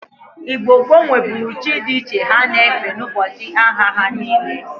Igno gboo nweburu chi di iche ha na-efe n'ubochi ahia ha niile.